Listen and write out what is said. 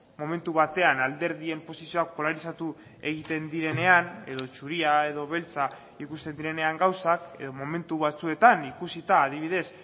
momentu batean alderdien posizioak polarizatu egiten direnean edo zuria edo beltza ikusten direnean gauzak edo momentu batzuetan ikusita adibidez